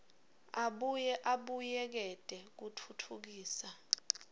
abuye abuyekete kutfutfukisa